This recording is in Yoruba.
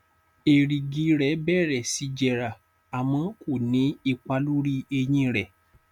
èrìgì rẹ bẹrẹ sí jẹrà àmọ ko ní ipa lórí eyín rẹ